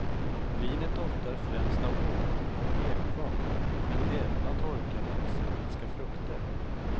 Vinet doftar främst av honung och ekfat, men även av torkade exotiska frukter.